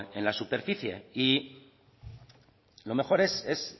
en la superficie y lo mejor es